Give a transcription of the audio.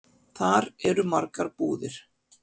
Þar eru margar búðir.